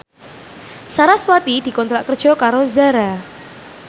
sarasvati dikontrak kerja karo Zara